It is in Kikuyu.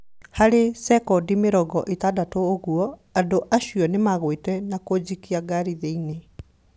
Harĩ cekondi mĩrongo ĩtandatũ ũguo, andũ acio nĩmaguĩte na kũnjikia ngari thĩinĩ